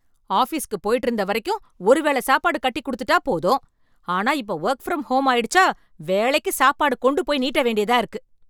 ஆஃபீஸ்க்கு போயிட்டு இருந்த வரைக்கும் வந்து ஒருவேளை சாப்பாடு கட்டி கொடுத்துட்டா போதும் ஆனா இப்ப வொர்க் ஃப்ரம் ஹோம் ஆயிடுச்சா வேலைக்கு சாப்பாடு கொண்டு போய் நீட்ட வேண்டியதா இருக்கு